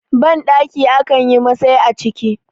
bandaki a kan yi Masai a ciki